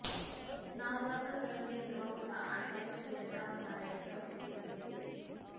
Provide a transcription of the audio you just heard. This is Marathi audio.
नावजाताच रंग हिरवा होता आणि त्याच्या शरीरावर धार्यांची आकृती बनलेली होती